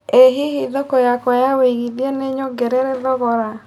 ĩ hihi thoko yakwa ya wĩigĩthĩa nĩnyogerere thogora